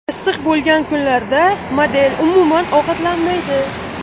Issiq bo‘lgan kunlarda model, umuman, ovqatlanmaydi.